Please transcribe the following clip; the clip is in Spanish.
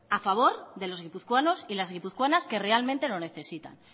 a favor de los guipuzcoanos y las guipuzcoanas que realmente lo necesitan